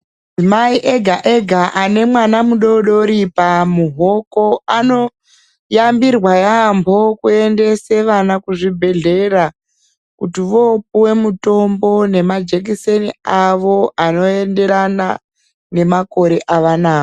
Mai ega ega ane mwana mudodori pamuhoko anoyambirwa yaampo kuendese vana kuzvibhedhlera kuti vopuwe mutombo nemajekiseni awo anoenderana nemakore evanawo.